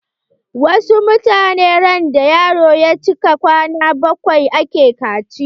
Wasu mutanen randa yaro ya cika kwana bakwai ake kaciya.